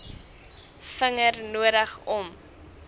vinger nodig o